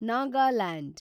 Nagaland